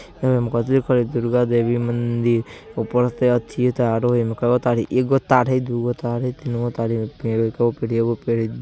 दुर्गा देवी मंदिर | ऊपर से एथिओ तारो हई | उमे कैगो तार हई एगो तार हई दूगो तार हई तीनगो तार हई । कैगो पेड़ हई ?